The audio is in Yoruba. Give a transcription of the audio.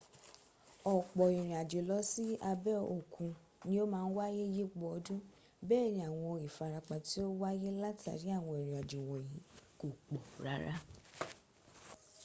ọ̀pọ̀ ìrìnàjò lọ sí abẹ́ òkun ni o máa n wáyé yípo ọdún bẹ́ẹ̀ ni àwọn ìfarapa tí ó wáyé látàrí àwọn ìrìnàjò wọ̀nyí kò pọ̀ rárá